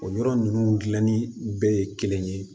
O yɔrɔ ninnu dilanni bɛɛ ye kelen ye